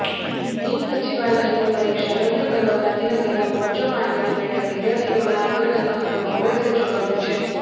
બિન સચિવાલયની પરીક્ષા રદ કરવા ગાંધીનગરમાં મોરચો માંડીને બેઠા વિદ્યાર્થીઓના આંદોલનમાં હવે કોંગ્રેસે ઝૂકાવ્યું છે